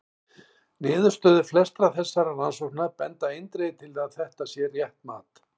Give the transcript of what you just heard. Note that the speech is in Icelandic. Niðurstöður flestra þessara rannsókna benda eindregið til að þetta sé rétt mat.